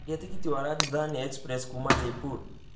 caria tigiti wa rajdhani express kuuma jaipur